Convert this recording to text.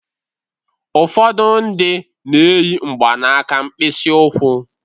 Ụfọdụ ndị na-eyi mgbanaka mkpịsị ụkwụ.